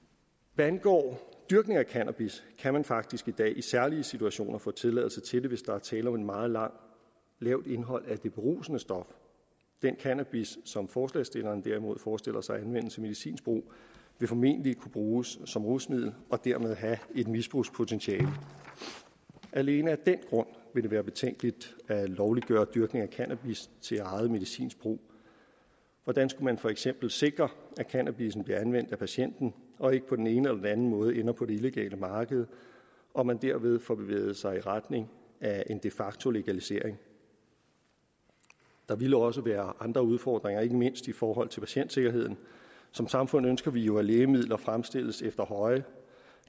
hvad angår dyrkningen af cannabis kan man faktisk i dag i særlige situationer få tilladelse til det hvis der er tale om et meget lavt indhold af det berusende stof den cannabis som forslagsstillerne derimod forestiller sig anvendt til medicinsk brug vil formentlig kunne bruges som rusmiddel og dermed have et misbrugspotentiale alene af den grund vil det være betænkeligt at lovliggøre dyrkningen af cannabis til eget medicinsk brug hvordan skulle man for eksempel sikre at cannabissen bliver anvendt af patienten og ikke på den ene eller den anden måde ender på det illegale marked og man derved får bevæget sig i retning af en de facto legalisering der ville også være andre udfordringer ikke mindst i forhold til patientsikkerheden som samfund ønsker vi jo at lægemidler fremstilles efter høje